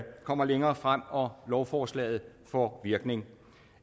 kommer længere frem og lovforslaget får virkning